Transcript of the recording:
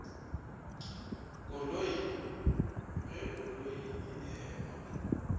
koloi ge koloi e ema